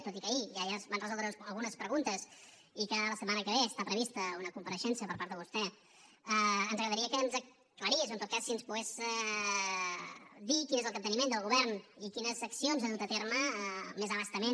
tot i que ahir ja es van resoldre algunes preguntes i que la setmana que ve està prevista una compareixença per part de vostè ens agradaria que ens aclarís o en tot cas si ens pogués dir quin és el capteniment del govern i quines accions ha dut a terme més a bastament